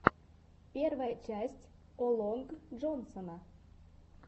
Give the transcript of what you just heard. первая часть о лонг джонсона